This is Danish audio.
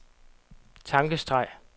tankestreg